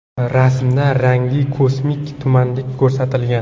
Rasmda rangli kosmik tumanlik ko‘rsatilgan.